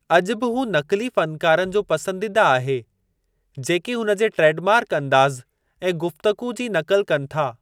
अॼु बि हू नक़ुली फ़नकारनि जो पसंदीदा आहे जेकी हुन जे ट्रेड मार्क अंदाज़ ऐं गुफ़्तगू जी नक़ुल कनि था।